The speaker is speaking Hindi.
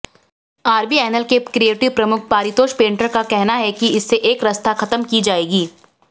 आरबीएनएल के क्रिएटिव प्रमुख पारितोष पेंटर का कहना है कि इससे एकरसता खत्म की जाएगी